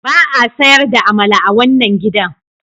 Ba a sayar da amala a wannan gidan.